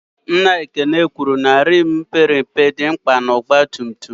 Nna Ekene kwụrụ na rimu père mpe mana akụkụ dị mkpa na ọgba tum tum